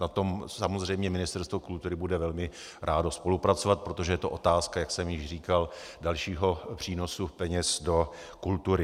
Na tom samozřejmě Ministerstvo kultury bude velmi rádo spolupracovat, protože to je otázka, jak jsem již říkal, dalšího přínosu peněz do kultury.